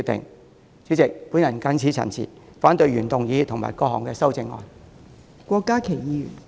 代理主席，我謹此陳辭，反對原議案及各項修正案。